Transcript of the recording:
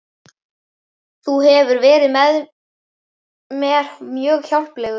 Þú hefur verið mér mjög hjálplegur